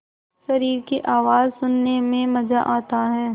शरीर की आवाज़ सुनने में मज़ा आता है